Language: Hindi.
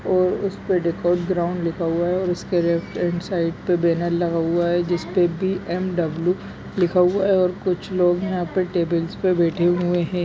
और उस पे डिकोड ग्राउन लिखा हुआ है उसके लेफ्ट हैंड साइड पे बैनर लगा हुआ है जिसपे बी. एम. डब्ल्यू. लिखा हुआ है और कुछ लोग यहाँ पे टेबल पे बैठे हुए है।